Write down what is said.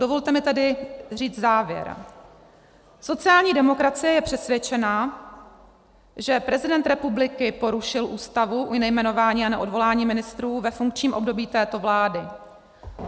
Dovolte mi tedy říct závěr, sociální demokracie je přesvědčena, že prezident republiky porušil Ústavu u nejmenování a neodvolání ministrů ve funkčním období této vlády.